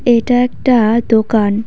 এটা একটা দোকান।